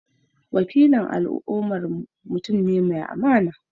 Wakilin al’ummarmu mutum ne mai amana.